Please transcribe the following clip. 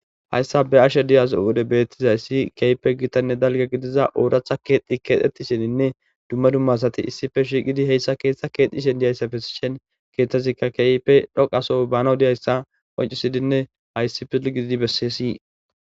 hayssa be ashe diyazo wode bettizayssi keeype gitanne dalga gidiza ooractha keexxi keexxetisheninne dumma dummasati issife shiiqidi heyssa keeththa keexishen diyayssafesi shen keeththazikka keype dhoqaso bana diyayssa qoncisidinne hayssi pil gididi bessesii